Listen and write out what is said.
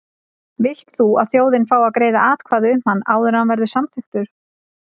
Vilt þú að þjóðin fái að greiða atkvæði um hann áður en hann verður samþykktur?